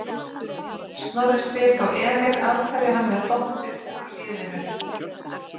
Snorri spyr þá Emil af hverju hann hafi dottið úr liðinu?